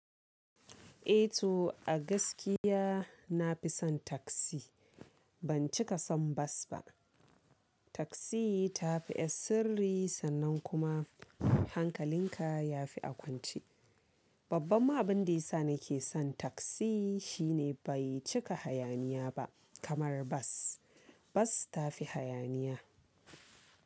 Eh to a gaskiya nafi son taksi, ban cika son bas ba. Taksi tafi ƴar sirri sannan kuma hankalin ka yafi a kwance. Babban ma abin da yasa nake son taksi shine bai cika hayaniya ba kamar bas, bas ta fi hayaniya.